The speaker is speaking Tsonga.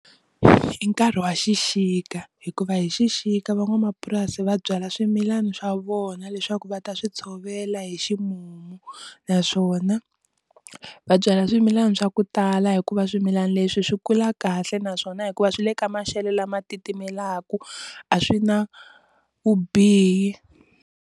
I nkarhi wa xixika hikuva hi xixika van'wamapurasi va byala swimilana swa vona leswaku va ta swi tshovela hi ximumu naswona va byala swimilana swa ku tala hikuva swimilana leswi swi kula kahle naswona hikuva swi le ka maxelo lama titimelaka a swi na vubihi.